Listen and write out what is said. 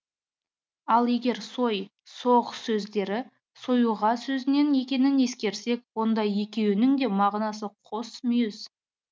ал егер сой соғ сөздері сойуға сөзінен екенің ескерсек онда екеуінің де мағынасы қос мүйіз